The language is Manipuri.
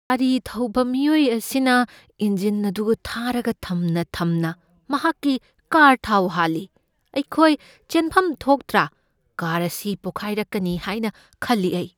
ꯒꯥꯔꯤ ꯊꯧꯕ ꯃꯤꯑꯣꯏ ꯑꯁꯤꯅ ꯏꯟꯖꯤꯟ ꯑꯗꯨ ꯊꯥꯔꯒ ꯊꯝꯅ ꯊꯝꯅ ꯃꯍꯥꯛꯀꯤ ꯀꯥꯔ ꯊꯥꯎ ꯍꯥꯜꯂꯤ꯫ ꯑꯩꯈꯣꯏ ꯆꯦꯟꯐꯝ ꯊꯣꯛꯇ꯭ꯔꯥ? ꯀꯥꯔ ꯑꯁꯤ ꯄꯣꯈꯥꯏꯔꯛꯀꯅꯤ ꯍꯥꯏꯅ ꯈꯜꯂꯤ ꯑꯩ꯫